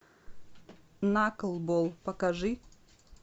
наклбол покажи